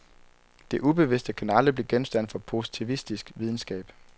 Det ubevidste kan aldrig blive genstand for positivistisk videnskab.